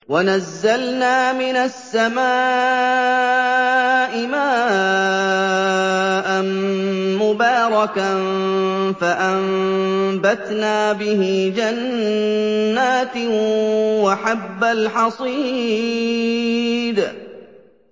وَنَزَّلْنَا مِنَ السَّمَاءِ مَاءً مُّبَارَكًا فَأَنبَتْنَا بِهِ جَنَّاتٍ وَحَبَّ الْحَصِيدِ